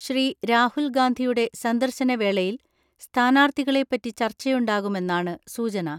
ശ്രീ.രാഹുൽ ഗാന്ധിയുടെ സന്ദർശന വേളയിൽ സ്ഥാനാർത്ഥികളെപ്പറ്റി ചർച്ചയുണ്ടാകുമെന്നാണ് സൂചന.